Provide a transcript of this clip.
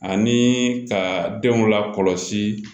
Ani ka denw lakɔlɔsi